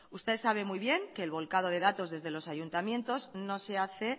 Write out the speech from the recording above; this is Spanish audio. usted sabe muy bien que el volcado de datos desde los ayuntamientos no se hace